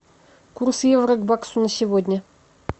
курс евро к баксу на сегодня